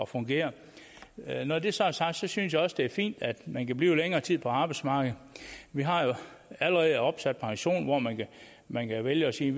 fungere når det så er sagt så synes jeg også at det er fint at man kan blive længere tid på arbejdsmarkedet vi har jo allerede opsat pension hvor man man kan vælge at sige